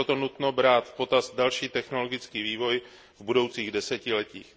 Je proto nutno brát v potaz další technologický vývoj v budoucích desetiletích.